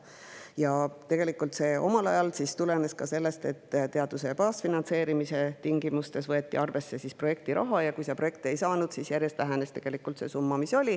Tegelikult see omal ajal tulenes ka sellest, et teaduse baasfinantseerimise tingimustes võeti arvesse projektiraha, ja kui sa projekte ei saanud, siis see summa järjest vähenes.